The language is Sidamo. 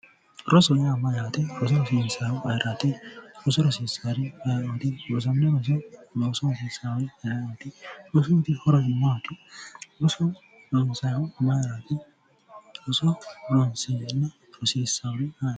Rosu yaa mayyaate roso ronsayihu mayiraati roso rosiissannori aye'ooti rossanno roso loosoho hosiissari aye'ooti rosuyiti horosi maati rosu roso ronsayihu mayiraati roso rossarinna rosiissaari ayeti